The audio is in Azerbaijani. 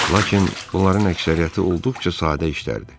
Lakin bunların əksəriyyəti olduqca sadə işlərdir.